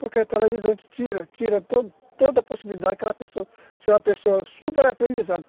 Porque a televisão te tira, tira toda toda a possibilidade de aquela pessoa ser uma pessoa super aprendizada.